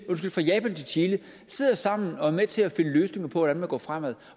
sidder sammen og er med til at finde løsninger på hvordan man går fremad